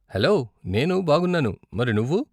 Hello, నేను బాగున్నాను, మరి నువ్వు?